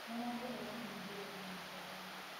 Mũrango ũrahĩngĩrwo naĩhenya